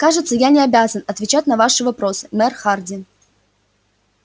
кажется я не обязан отвечать на ваши вопросы мэр хардин